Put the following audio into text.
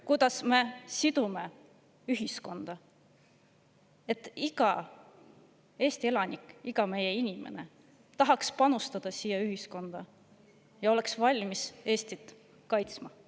Kuidas me seome ühiskonda, et iga Eesti elanik, iga meie inimene tahaks panustada ühiskonda ja oleks valmis Eestit kaitsma?